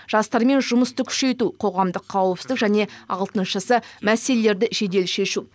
жастармен жұмысты күшейту қоғамдық қауіпсіздік және алтыншысы мәселелерді жедел шешу